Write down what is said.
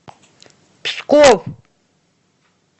псков